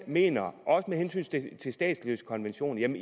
mener også med hensyn til statsløsekonventionen